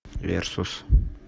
версус